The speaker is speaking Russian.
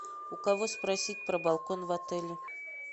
у кого спросить про балкон в отеле